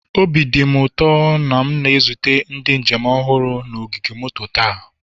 Obi dị m ụtọ na m na-ezute ndị njem ọhụrụ na ogige moto taa.